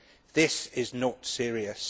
This is not serious.